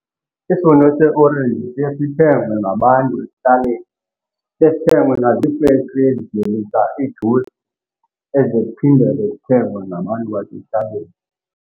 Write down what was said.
Isivuno seeorenji siye sithengwe ngabantu ekuhlaleni, siye sithengwe nazifekhtri ezivelisa iijusi eziye zezithengwe ngabantu basekuhlaleni.